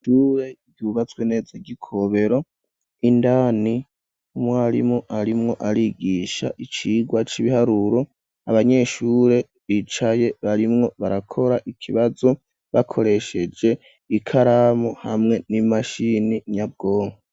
Ishure ryubatswe neza ryikobero indani umwarimu arimwo arigisha icigwa c'ibiharuro abanyeshure bicaye barimwo barakora ikibazo bakoresheje ikaramu hamwe n'imashini nyabwongo.